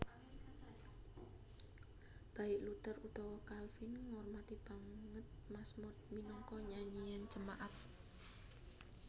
Baik Luther utawa Calvin ngormati banget mazmur minangka nyanyian jemaat